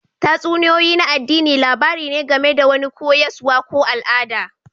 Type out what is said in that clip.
Tatsuniyoyi na addini labari ne game da wani koyaswa ko al'ada